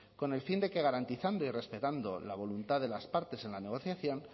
con el fin de que garantizando y respetando la voluntad de las partes en la negociación